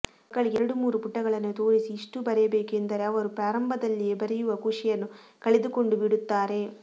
ಮಕ್ಕಳಿಗೆ ಎರಡು ಮೂರು ಪುಟಗಳನ್ನು ತೋರಿಸಿ ಇಷ್ಟೂ ಬರೆಯಬೇಕು ಎಂದರೆ ಅವರು ಪ್ರಾರಂಭದಲ್ಲಿಯೇ ಬರೆಯುವ ಖುಷಿಯನ್ನು ಕಳೆದುಕೊಂಡು ಬಿಡುತ್ತಾರೆ